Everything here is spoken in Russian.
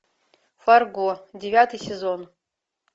фарго девятый сезон